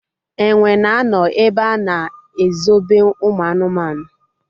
Enwe na-anọ ebe a na ezobe ụmụ anụmanụ